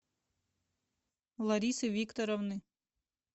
ларисы викторовны